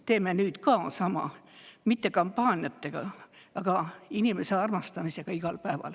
Teeme nüüd ka sama, mitte kampaaniatega, vaid inimese armastamisega igal päeval.